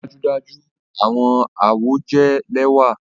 Dájúdájú! Awọn awọ jẹ lẹwa